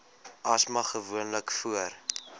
asma gewoonlik voor